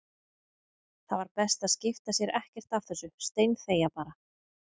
Það var best að skipta sér ekkert af þessu, steinþegja bara.